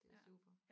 Det er super